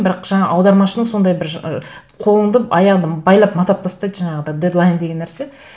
бірақ жаңа аудармашының сондай бір ы қолыңды аяғыңды байлап матап тастайды жаңағы дедлайн деген нәрсе